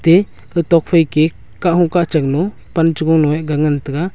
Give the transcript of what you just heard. atey kau tok phai ke kah hung kah chang nyu pan che gung nyu ye ga ngan tega.